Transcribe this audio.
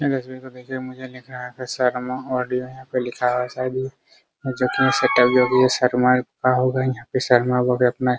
hello guys मुझे देखने में शर्मा ऑडियो यहा पे लिखा हुआ है साइड में जो की